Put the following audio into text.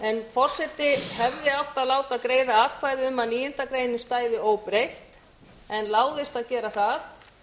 forseti hefði átt að láta greiða atkvæði um að níundu grein stæði óbreytt en láðist að gera það